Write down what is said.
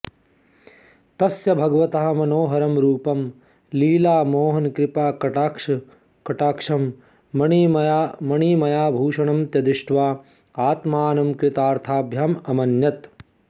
तस्य भगवतः मनोहरं रूपं लीलामोहनकृपाकटाक्षं मणिमयाभूषणं च दृष्ट्वा आत्मानं कृतार्थम् अमन्यत